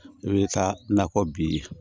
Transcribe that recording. I bɛ taa nakɔ bi ye